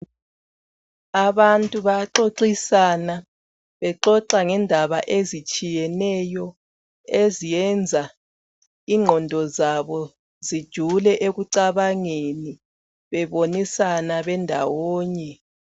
Abantu bayaxoxisana bexoxa ngezinto ezitshiyeneyo eziyenza inqondo zabo zijule ekucabangeni bebonisa bendawonye.